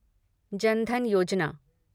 जन धन योजना